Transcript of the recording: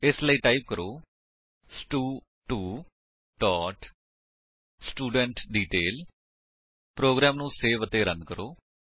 ਇਸ ਲਈ ਟਾਈਪ ਕਰੋ ਸਟੂ2 ਸਟੂਡੈਂਟਡੀਟੇਲ ਪ੍ਰੋਗਰਾਮ ਨੂੰ ਸੇਵ ਅਤੇ ਰਨ ਕਰੋ